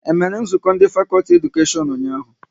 E mere nzukọ ndị fakọlti Edukashion ụnyaahụ?